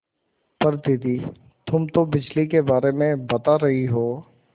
पर दादी तुम तो बिजली के बारे में बता रही हो